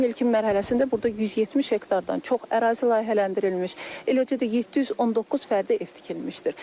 Tikintinin ilkin mərhələsində burda 170 hektardan çox ərazi layihələndirilmiş, eləcə də 719 fərdi ev tikilmişdir.